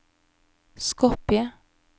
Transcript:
Skopje